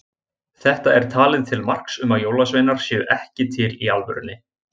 Þetta er talið til marks um að jólasveinar séu ekki til í alvörunni.